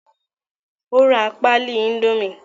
ó ra pálí índómì